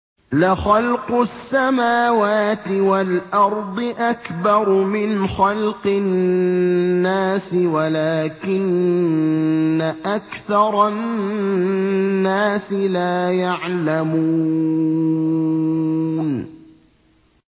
لَخَلْقُ السَّمَاوَاتِ وَالْأَرْضِ أَكْبَرُ مِنْ خَلْقِ النَّاسِ وَلَٰكِنَّ أَكْثَرَ النَّاسِ لَا يَعْلَمُونَ